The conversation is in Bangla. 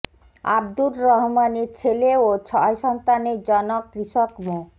আবদুর রহমানের ছেলে ও ছয় সন্তানের জনক কৃষক মো